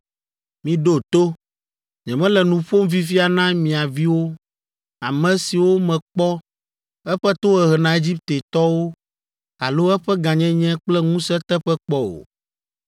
Miɖo to! Nyemele nu ƒom fifia na mia viwo, ame siwo mekpɔ eƒe tohehe na Egiptetɔwo alo eƒe gãnyenye kple ŋusẽ teƒe kpɔ o.